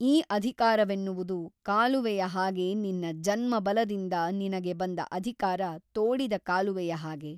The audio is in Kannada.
ಈ ಅಧಿಕಾರವೆನ್ನುವುದು ಕಾಲುವೆಯ ಹಾಗೆ ನಿನ್ನ ಜನ್ಮಬಲದಿಂದ ನಿನಗೆ ಬಂದ ಅಧಿಕಾರ ತೋಡಿದ ಕಾಲುವೆಯ ಹಾಗೆ.